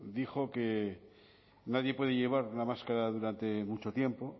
dijo que nadie puede llevar una máscara durante mucho tiempo